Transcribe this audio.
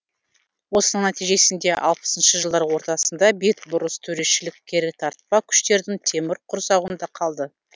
осының нәтижесінде алпысыншы жылдар ортасындағы бетбұрыс төрешіл керітартпа күштердің темір құрсауында қалды